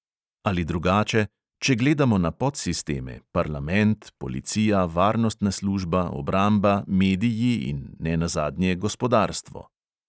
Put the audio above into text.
Ali drugače – če gledamo na podsisteme: parlament, policija, varnostna služba, obramba, mediji in, nenazadnje, gospodarstvo.